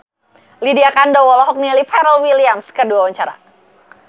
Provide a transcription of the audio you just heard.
Lydia Kandou olohok ningali Pharrell Williams keur diwawancara